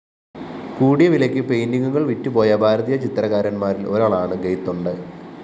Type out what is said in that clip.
കൂടിയ വിലയ്ക്ക് പെയിന്റിങ്ങുകള്‍ വിറ്റുപോയ ഭാരതീയ ചിത്രകാരന്മാരില്‍ ഒരാളാണ് ഗെയ്തൊണ്ടെ